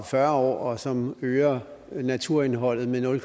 fyrre år og som øger naturarealet med nul